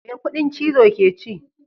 Me kudin chizo ke ci.